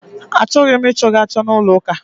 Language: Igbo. A chọghị m ị chọ gị achọ n'ụlọ ụka!